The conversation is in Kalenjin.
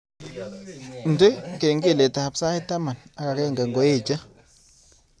Indene kengeletab sait taman ak agenge ngoeche